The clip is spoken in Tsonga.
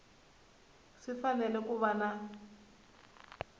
swi fanele ku va na